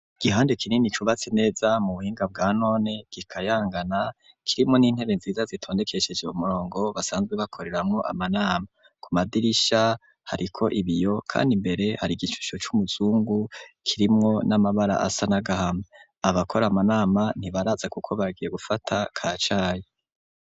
Igihande kinini cubatse neza mu buhinga bwa none gikayangana kirimo n'intebe nziza zitondekesheje kumurongo basanzwe bakoreramo amanama ku madirisha hariko ibiyo kandi imbere hari igishusho c'umuzungu kirimwo n'amabara asa n'agahama abakora amanama ntibaraza kuko bagiye gufata kacayi.